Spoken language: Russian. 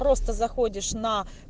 просто заходишь на